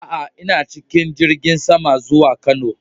A a, ina cikin jirigin sama zuwa Kano.